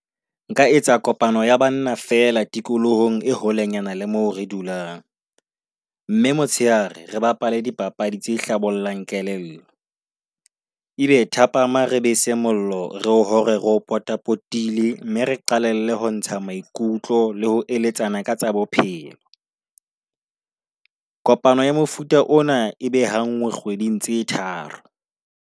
Nka etsa kopano ya banna fela tikolohong e holenyana le mo re dulang Mme motshehare re bapale dipapadi tse hlabollang kelello. Ebe thapama re be se mollo, re o hore re o potapotile mme re qalelle ho ntsha maikutlo le ho eletsana ka tsa bophelo. Kopano ya mofuta ona ebe ha nngwe kgweding tse tharo.